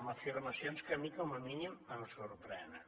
amb afirmacions que a mi com a mínim em sorprenen